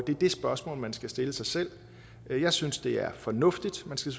det er det spørgsmål man skal stille sig selv jeg synes det er fornuftigt man skal